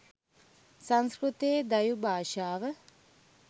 සංස්කෘතය දෛව් භාෂාව